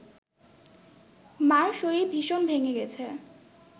মার শরীর ভীষণ ভেঙে গেছে